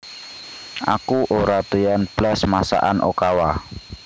Aku ora doyan blas masakan Okawa